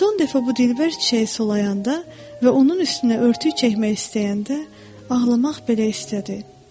Son dəfə bu dilbər çiçəyi sulayanda və onun üstünə örtük çəkmək istəyəndə ağlamaq belə istədi.